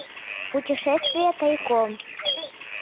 путешествие тайком